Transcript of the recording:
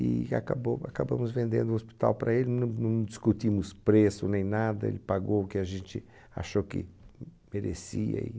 E acabou, acabamos vendendo o hospital para ele, não não discutimos preço nem nada, ele pagou o que a gente achou que merecia e